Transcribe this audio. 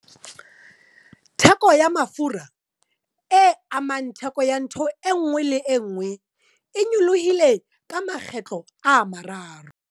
Theko ya mafura, e amang theko ya ntho e nngwe le e nngwe, e nyolohile ka makgetlo a mararo.